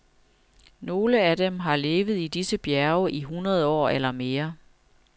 Nogle af dem har levet i disse bjerge i hundrede år eller mere.